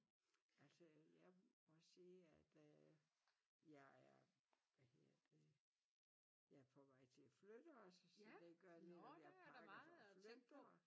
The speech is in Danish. Altså jeg må sige at øh jeg er hvad hedder det jeg er på vej til at flytte også så det gør lige at jeg pakker for at flytte og